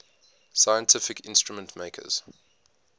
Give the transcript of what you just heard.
scientific instrument makers